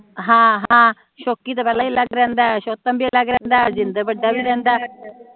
ਹਮ ਹਮ ਸ਼ੋਕੀ ਤਾ ਪਹਿਲਾ ਹੀ ਅਲੱਗ ਰਹਿੰਦਾ ਸੌਤਨ ਵੀ ਅਲੱਗ ਰਹਿੰਦਾ ਜਿੰਦਰ ਵੱਡਾ ਵੀ ਰਹਿੰਦਾ